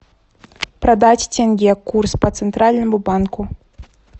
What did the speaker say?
продать тенге курс по центральному банку